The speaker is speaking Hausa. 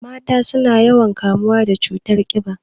Mata suna yawan kamuwa da cutar ƙiba